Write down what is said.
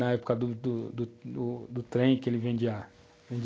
Na época do do do trem, que ele vendia